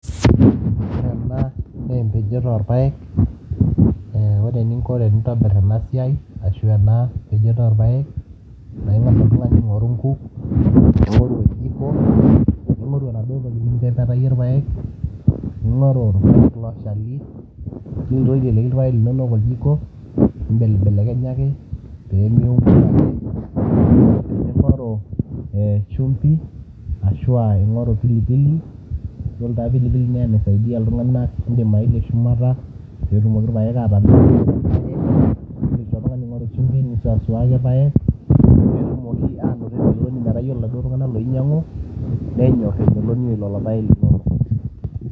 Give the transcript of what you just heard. ore ena naa empejoto orpayek ee ore eninko tenintobirr ena siai ashu ena pejoto orpayek naa ing'as oltung'ani aing'oru nkuk ning'oru oljiko ning'oru enaduo toki nintepetarie irpayek, ning'oru irpayek looshali niloru aiteleki irpayek linonok oljiko nimbelibelekenyak peemiungua ake ning'oru ee shumbi ashua ing'oru pilipili yiolo taa pilipili naa enaisaidia iltung'anak indim aelie shumata peetumoki irpayek atamelono indim sii oltung'ani aingoru shumbi nisuasuaki irpayek peetumoki anoto ina meloni metaa yiol iladuo tung'anak loinyiang'u nenyorr emeloni oo lelo payek linonok.